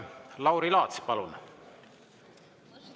Lauri Laats, palun!